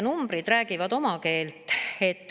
Numbrid räägivad oma keelt.